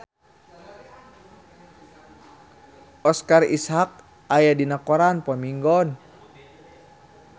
Oscar Isaac aya dina koran poe Minggon